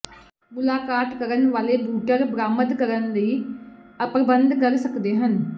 ਮੁਲਾਕਾਤ ਕਰਨ ਵਾਲੇ ਬੂਟਰ ਬਰਾਮਦ ਕਰਨ ਲਈ ਪ੍ਰਬੰਧ ਕਰ ਸਕਦੇ ਹਨ